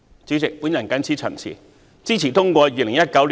主席，我謹此陳辭，支持通過《條例草案》。